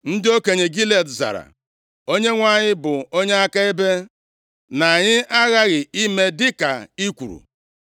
Ndị okenye Gilead zara, “ Onyenwe anyị bụ onye akaebe, na anyị aghaghị ime dịka i kwuru.”